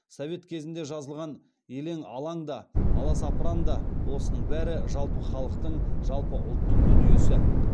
совет кезінде жазылған елең алаң да аласапыран да осының бәрі жалпы халықтың жалпы ұлттың дүниесі